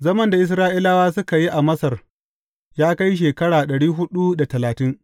Zaman da Isra’ilawa suka yi a Masar, ya kai shekara dari hudu da talatin.